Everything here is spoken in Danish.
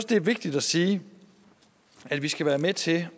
det er vigtigt at sige at vi skal være med til